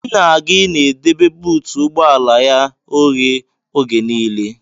Nna gị na-edebe buutu ụgbọala ya oghe oge nile.